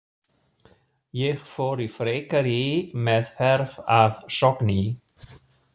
Ég fór í frekari meðferð að Sogni.